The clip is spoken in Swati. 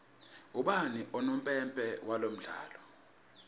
ubani unompempe walomdlalo